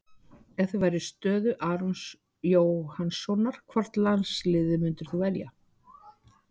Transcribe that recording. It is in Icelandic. Þar spyrjum við: Ef þú værir í stöðu Arons Jóhannssonar, hvort landsliðið myndir þú velja?